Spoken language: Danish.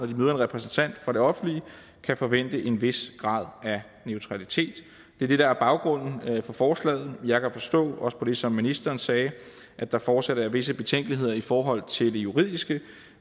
de møder en repræsentant for det offentlige kan forvente en vis grad af neutralitet det er det der er baggrunden for forslaget jeg kan forstå også på det som ministeren sagde at der fortsat er visse betænkeligheder i forhold til de juridiske